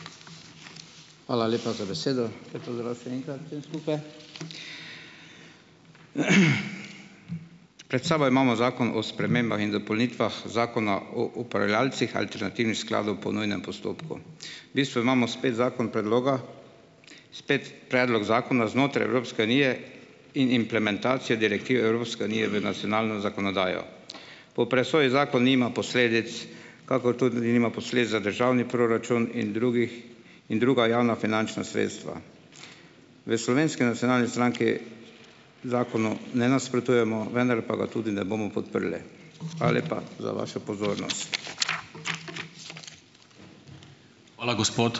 Hvala lepa za besedo. Lep pozdrav še enkrat vsem skupaj! Pred sabo imamo Zakon o spremembah in dopolnitvah Zakona o upravljavcih alternativnih skladov po nujnem postopku. V bistvu imamo spet zakon predloga, spet predlog zakona znotraj Evropske unije in implementacije direktive Evropske unije v nacionalno zakonodajo. Po presoji zakon nima posledic, kakor tudi nima posledic za državni proračun in drugih in druga javnofinančna sredstva. V Slovenski nacionalni stranki zakonu ne nasprotujemo, vendar pa ga tudi ne bomo podprli. Hvala lepa za vašo pozornost.